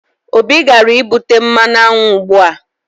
Obi gara ibute mmanụ aṅụ ugbua